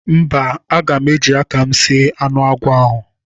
Mba, aga m eji aka m sie anụ agwọ ahụ.